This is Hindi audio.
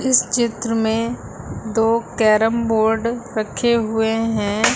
इस चित्र में दो कैरम बोर्ड रखे हुए हैं।